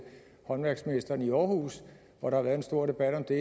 håndværksmesteren i aarhus hvor der været en stor debat om det